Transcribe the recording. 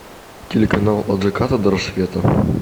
телеканал от заката до рассвета